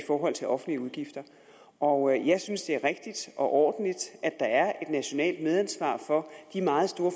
forhold til offentlige udgifter og jeg synes det er rigtigt og ordentligt at der er et nationalt medansvar for de meget store